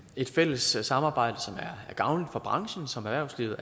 et fælles samarbejde som er gavnligt for branchen og som erhvervslivet